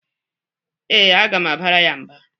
Ee, aga m abara ya mba.